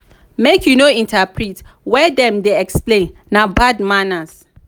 make you no interrupt when dem dey explain na bad manners.